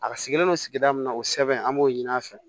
A sigilen don sigida min na o sɛbɛn an b'o ɲini a fɛ